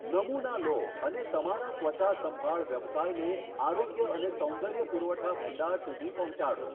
નમુના લો અને તમારા ત્વચા સંભાળ વ્યવસાયને આરોગ્ય અને સૌંદર્ય પુરવઠા ભંડાર સુધી પહોંચાડો.